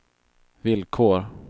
villkor